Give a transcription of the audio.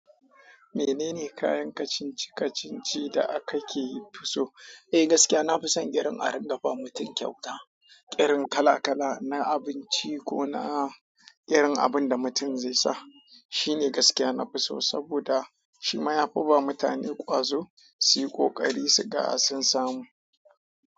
Menene kayan kacici-kacici da ka ke fi so? Eh, gaskiya, na fi son irin a ringa ba mutum kyauta, irin kala-kala na abinci ko na irin abin da mutum zai sa. Shi ne gaskiya na fi so saboda shi ma ya fi ba mutane ƙwazo, su yi ƙoƙari su ga sun samu.